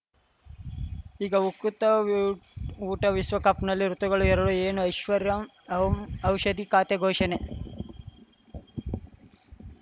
ಈಗ ಉಕುತ ಊ ಊಟ ವಿಶ್ವಕಪ್‌ನಲ್ಲಿ ಋತುಗಳು ಎರಡು ಏನು ಐಶ್ವರ್ಯಾ ಓಂ ಔಷಧಿ ಖಾತೆ ಘೋಷಣೆ